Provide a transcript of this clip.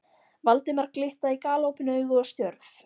Valdimar glitta í galopin augu og stjörf.